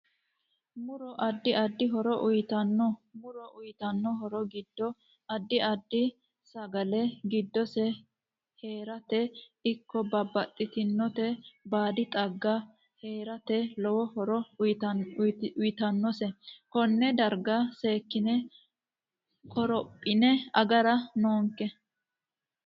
Muro addi addi horo uyiitanno muro uyiitanno horo giddo addi. addi sshale. giddose heerate ikko babaxitinota baadi xagga. heerate lowo horo uyiitsano konne darga seekine korophine agara noonke